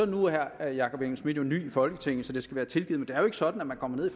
nu er herre jakob engel schmidt jo ny i folketinget så det skal være tilgivet er ikke sådan at man kommer ned i